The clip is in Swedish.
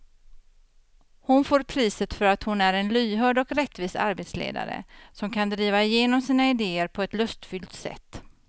Hon får priset för att hon är en lyhörd och rättvis arbetsledare som kan driva igenom sina idéer på ett lustfyllt sätt.